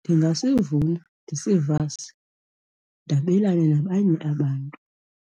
Ndingasivuna, ndisivase, ndabelane nabanye abantu